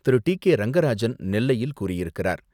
திரு. D K Rangarajan, நெல்லையில் கூறியிருக்கிறார்.